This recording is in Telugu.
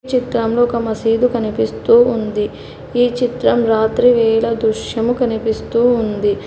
చిత్రంలో ఒక మసీదు కనిపిస్తూ ఉంది ఈ చిత్రం రాత్రివేళ దృశ్యం కనిపిస్తూ ఉంది.